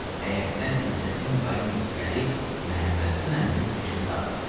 Həyətdən İzzətin qayıq səsi gəlib Məhəmmədhəsən əminin fikrini dağıtdı.